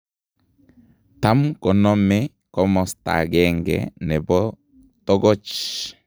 Tam konome komostagenge nebo togoch